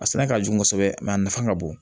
A sɛnɛ ka jugu kosɛbɛ a nafa ka bon